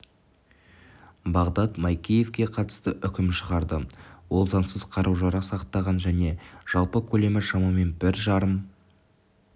бағдат майкеевке қатысты үкім шығарды ол заңсыз қару-жарақ сақтаған және жалпы көлемі шамамен бір жарым